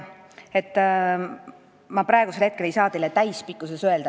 Ma praegu ei saa teile täispikkust öelda.